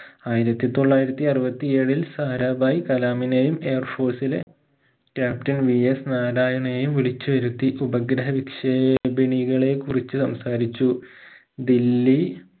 ആയിരത്തി തൊള്ളായിരത്തി അറുപത്തി ഏഴിൽ സാരാഭായ് കലാമിനെയും air force ഇലെ captianVS നാരായനെയും വിളിച്ചുവരുത്തി ഉപഗ്രഹനിക്ഷേപിണികളെ കുറിച്ച് സംസാരിച്ചു ദില്ലി